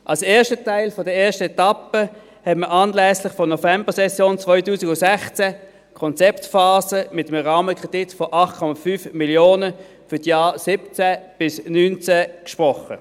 Als ersten Teil der ersten Etappe hat man anlässlich der Novembersession 2016 für die Konzeptphase einen Rahmenkredit von 8,5 Mio. Franken für die Jahre 2017– 2019 gesprochen.